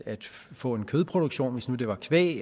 få en kødproduktion hvis nu det var kvæg